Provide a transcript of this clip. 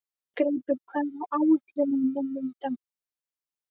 Greipur, hvað er á áætluninni minni í dag?